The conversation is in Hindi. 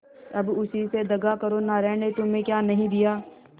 अब उसी से दगा करो नारायण ने तुम्हें क्या नहीं दिया